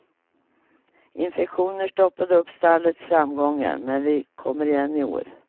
Infektioner stoppade upp stallets framgångar men vi kommer igen i år.